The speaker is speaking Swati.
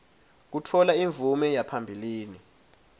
kutfola imvume yaphambilini